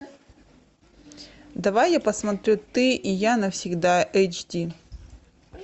давай я посмотрю ты и я навсегда эйч ди